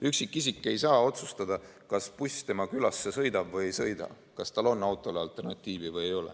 Üksikisik ei saa otsustada, kas buss tema külasse sõidab või ei sõida, kas tal on autole alternatiivi või ei ole.